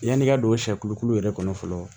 Yan'i ka don sɛkuku yɛrɛ kɔnɔ fɔlɔ